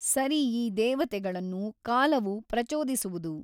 ಸರಿ ಈ ದೇವತೆಗಳನ್ನು ಕಾಲವು ಪ್ರಚೋದಿಸುವುದು.